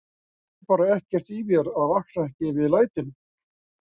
Ég skil bara ekkert í mér að vakna ekki við lætin